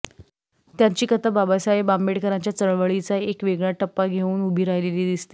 त्यांची कथा बाबासाहेब आंबेडकरांच्या चळवळीचा एक वेगळा टप्पा घेऊन उभी राहिलेली दिसते